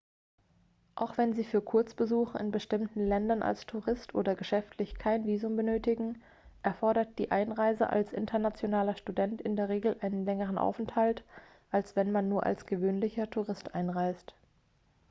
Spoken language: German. auch wenn sie für kurzbesuche in bestimmten ländern als tourist oder geschäftlich kein visum benötigen erfordert die einreise als internationaler student in der regel einen längeren aufenthalt als wenn man nur als gewöhnlicher tourist einreist